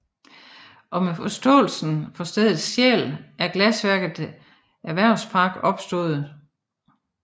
Og med forståelse for stedets sjæl er glasværket Erhvervspark opstået